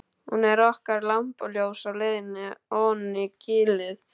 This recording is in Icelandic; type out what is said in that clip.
Hún er okkar lampaljós á leiðinni oní gilið.